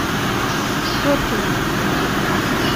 теткина